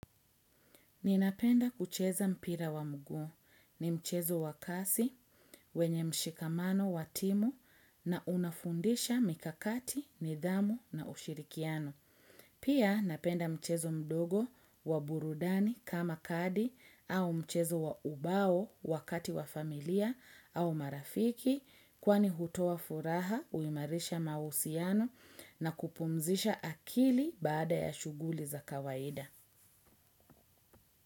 Ninapenda kucheza mpira wa mguu, ni mchezo wa kasi wenye mshikamano wa timu na unafundisha mikakati, nidhamu na ushirikiano. Pia napenda mchezo mdogo wa burudani kama kadi au mchezo wa ubao wakati wa familia au marafiki kwani hutoa furaha huimarisha mahusiano na kupumzisha akili baada ya shughuli za kawaida.